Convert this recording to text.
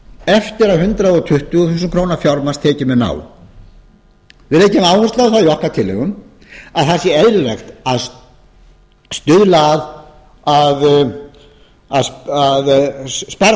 eftir að hundrað tuttugu þúsund krónur fjármagnstekjum er náð við leggjum áherslu á það í okkar tillögum að það sé eðlilegt að stuðla að